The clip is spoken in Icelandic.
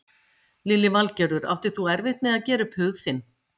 Lillý Valgerður: Áttir þú erfitt með að gera upp hug þinn?